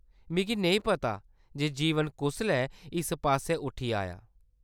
मिगी नेईं पता जे जीवन कुसलै इस पास्सै उठी आया।